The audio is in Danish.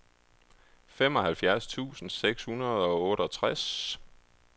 femoghalvfjerds tusind seks hundrede og otteogtres